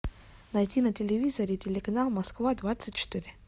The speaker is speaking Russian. найти на телевизоре телеканал москва двадцать четыре